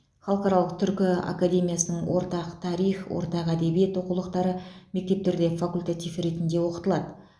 халықаралық түркі академиясының ортақ тарих ортақ әдебиет оқулықтары мектептерде факультатив ретінде оқытылады